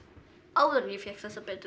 áður en ég fékk þessar betri